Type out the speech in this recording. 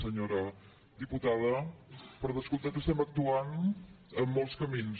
senyora diputada per descomptat estem actuant en molts camins